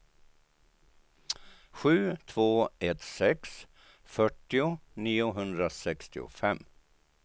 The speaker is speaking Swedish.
sju två ett sex fyrtio niohundrasextiofem